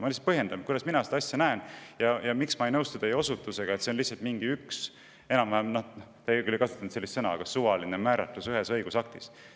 Ma lihtsalt põhjendan, kuidas mina seda asja näen ja miks ma ei nõustu teie osutusega, et see on lihtsalt mingi – te küll ei kasutanud sellist sõna – suvaline määratlus ühes õigusaktis.